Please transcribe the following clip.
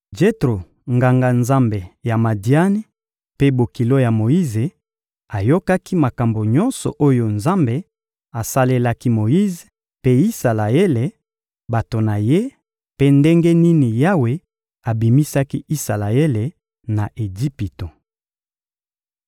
Jetro, Nganga-Nzambe ya Madiani mpe bokilo ya Moyize, ayokaki makambo nyonso oyo Nzambe asalelaki Moyize mpe Isalaele, bato na Ye, mpe ndenge nini Yawe abimisaki Isalaele na Ejipito.